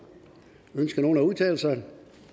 ønsker nogen at udtale sig